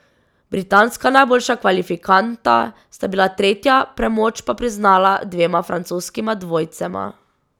Britanska najboljša kvalifikanta sta bila tretja, premoč pa priznala dvema francoskima dvojcema.